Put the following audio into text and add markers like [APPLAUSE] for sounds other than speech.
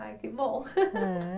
Ai, que bom. [LAUGHS] É